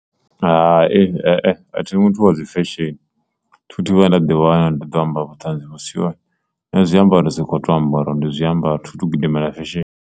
Hai, a thi muthu wa dzi fesheni thi thu vhaya nda ḓi wana, ndi ḓo amba vhuṱanzi vhu si hone nṋe zwiambaro ndi soko ambara uri ndi zwiambaro thi tu gidimela fesheni.